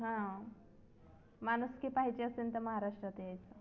हा माणुसकी पाहायची असेल तर महाराष्ट्रात यायचं